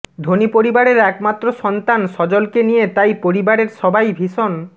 ধনী পরিবারের একমাত্র সন্তান সজলকে নিয়ে তাই পরিবারের সবাই ভীষণ